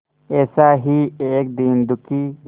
ऐसा ही एक दीन दुखी